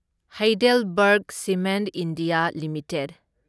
HeidelbergCement India limited